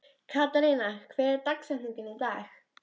Katharina, hver er dagsetningin í dag?